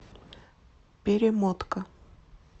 перемотка